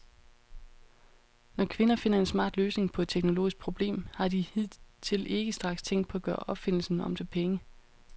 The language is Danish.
Når kvinder finder en smart løsning på et teknologisk problem, har de hidtil ikke straks tænkt på at gøre opfindelsen om til penge.